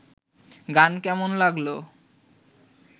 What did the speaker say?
গান কেমন লাগল